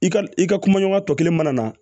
I ka i ka kumaɲɔgɔnya tɔ kelen mana na